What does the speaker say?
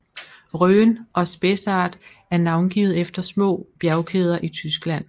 Rhön og Spessart er navngivet efter små bjergkæder i Tyskland